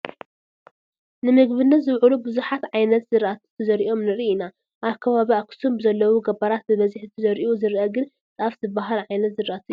ንምግብነት ዝውዕሉ ብዙሓት ዓይነት ዝራእቲ ተዘሪኦም ንርኢ ኢና፡፡ ኣብ ከባቢ ኣኽሱም ብዘለዉ ገባራት ብብዝሒ ተዘሪኡ ዝርአ ግን ጣፍ ዝበሃል ዓይነት ዝራእቲ እዩ፡፡